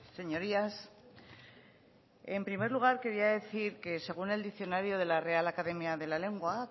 señorías en primer lugar quería decir que según el diccionario de la real academia de la lengua